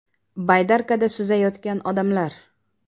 Baydarkada suzayotgan odamlar.